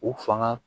U fanga